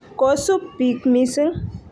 kosub bik missng.